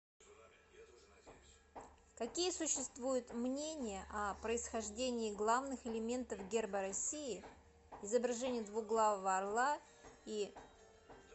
какие существуют мнения о происхождении главных элементов герба россии изображение двуглавого орла и